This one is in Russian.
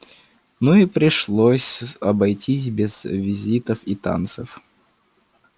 ну и пришлось обойтись без визитов и танцев